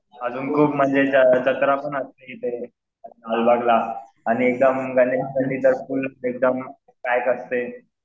अजून खूप म्हणजे जत्रा पण असते इथे लालबागला. आणि